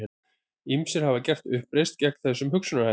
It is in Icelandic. Ýmsir hafa gert uppreisn gegn þessum hugsunarhætti.